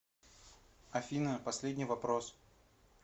афина последний вопрос